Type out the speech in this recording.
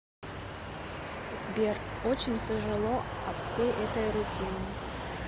сбер очень тяжело от всей этой рутины